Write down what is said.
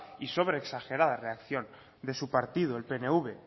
y sobreexagerada reacción de su partido el pnv